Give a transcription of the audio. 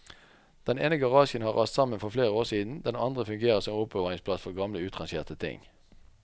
Den ene garasjen har rast sammen for flere år siden, den andre fungerer som oppbevaringsplass for gamle utrangerte ting.